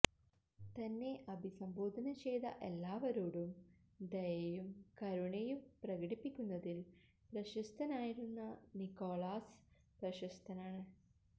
തന്നെ അഭിസംബോധന ചെയ്ത എല്ലാവരോടും ദയയും കരുണയും പ്രകടിപ്പിക്കുന്നതിൽ പ്രശസ്തനായിരുന്ന നിക്കോളാസ് പ്രശസ്തനാണ്